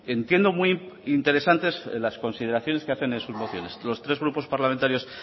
entiendo muy interesantes las consideraciones que hacen en sus mociones los tres grupos parlamentarios